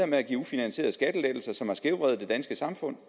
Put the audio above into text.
med at give ufinansierede skattelettelser som har skævvredet det danske samfund